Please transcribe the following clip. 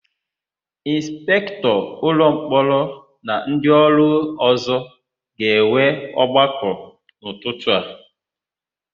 Ịnspektọ ụlọmkpọrọ na ndịọrụ ọ̀zọ́ ga-enwe ọgbakọ n'ụtụtụ a.